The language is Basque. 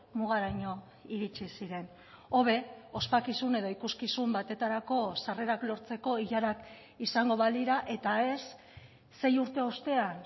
mugaraino iritsi ziren hobe ospakizun edo ikuskizun batetarako sarrerak lortzeko ilarak izango balira eta ez sei urte ostean